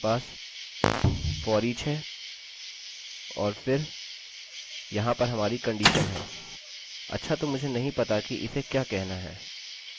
अतः हमारे पास foreach है और फिर यहाँ पर हमारी कंडीशन है अच्छा तो मुझे नहीं पता कि इसे क्या कहना है